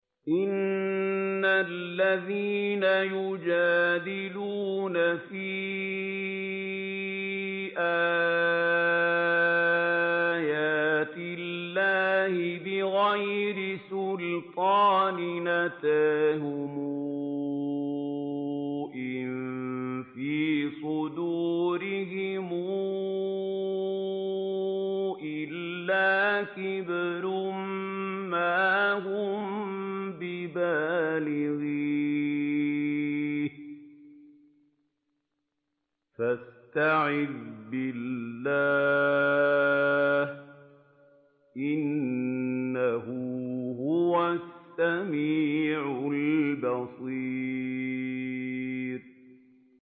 إِنَّ الَّذِينَ يُجَادِلُونَ فِي آيَاتِ اللَّهِ بِغَيْرِ سُلْطَانٍ أَتَاهُمْ ۙ إِن فِي صُدُورِهِمْ إِلَّا كِبْرٌ مَّا هُم بِبَالِغِيهِ ۚ فَاسْتَعِذْ بِاللَّهِ ۖ إِنَّهُ هُوَ السَّمِيعُ الْبَصِيرُ